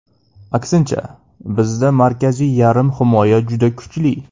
Aksincha, bizda markaziy yarim himoya juda kuchli.